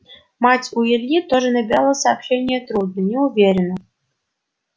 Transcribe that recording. мать у ильи тоже набирала сообщения трудно неуверенно